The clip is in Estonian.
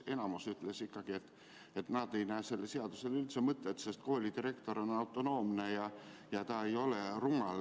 Enamik ütles, et nad ei näe, et sellel seadusel on üldse mõtet, sest koolidirektor on autonoomne ja ta ei ole rumal.